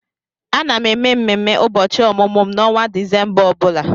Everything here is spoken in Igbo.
Ana m eme ememe ụbọchị ọmụmụ m n'ọnwa Disemba ọ bụla.